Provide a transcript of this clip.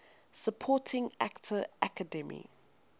supporting actor academy